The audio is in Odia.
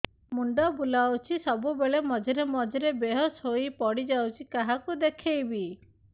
ମୁଣ୍ଡ ବୁଲାଉଛି ସବୁବେଳେ ମଝିରେ ମଝିରେ ବେହୋସ ହେଇ ପଡିଯାଉଛି କାହାକୁ ଦେଖେଇବି